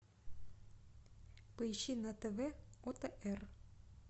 поищи на тв отр